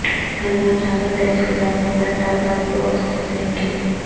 گھر گھر جاکر تحصیلدار نے پٹہ پاس بکس تقسیم کیے